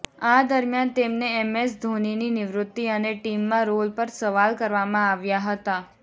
આ દરમિયાન તેમને એમએસ ધોનીની નિવૃતી અને ટીમમાં રોલ પર સવાલ કરવામાં આવ્યા હતા